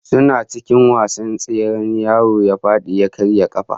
Suna cikin wasan tsere yaron ya fadi ya karya kafa